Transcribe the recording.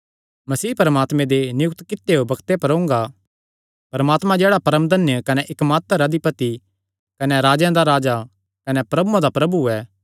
मसीह परमात्मे दे नियुक्त कित्यो बग्ते पर ओंगा परमात्मा जेह्ड़ा परमधन्य कने इकमात्र अधिपति कने राजेयां दा राजा कने प्रभुआं दा प्रभु ऐ